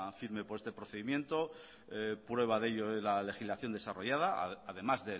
firme por este procedimiento prueba de ello es la legislación desarrollada además